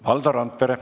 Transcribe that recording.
Valdo Randpere.